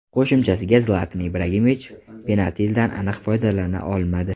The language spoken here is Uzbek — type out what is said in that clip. Qo‘shimchasiga, Zlatan Ibrahimovich penaltidan aniq foydalana olmadi.